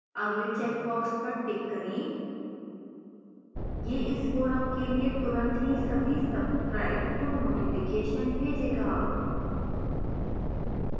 अगले checkbox पर tick करें